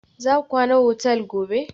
Za ku kwana otal gobe?